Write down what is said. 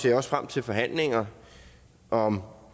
jeg også frem til forhandlinger om